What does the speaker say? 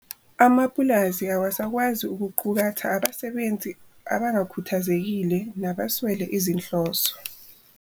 Amapulazi awasakwazi ukuqukatha abasebenzi abangakhuthazekile nabeswele izinhloso.